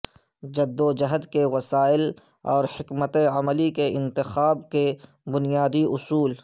جدوجہد کے وسائل اور حکمت عملی کے انتخاب کے بنیادی اصول